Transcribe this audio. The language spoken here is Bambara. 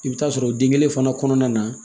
I bɛ taa sɔrɔ den kelen fana kɔnɔna na